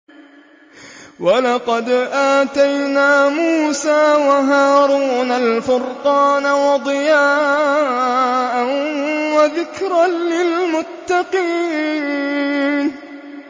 وَلَقَدْ آتَيْنَا مُوسَىٰ وَهَارُونَ الْفُرْقَانَ وَضِيَاءً وَذِكْرًا لِّلْمُتَّقِينَ